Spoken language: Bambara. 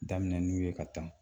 Daminɛ n'u ye ka tan